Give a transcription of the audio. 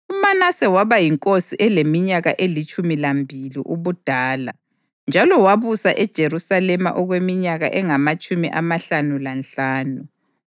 UManase waba yinkosi eleminyaka elitshumi lambili ubudala njalo wabusa eJerusalema okweminyaka engamatshumi amahlanu lanhlanu.